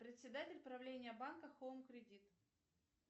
председатель правления банка хоум кредит